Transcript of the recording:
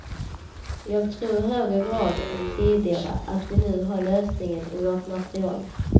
Jag tror i högre grad än tidigare att vi nu har lösningen i vårt material.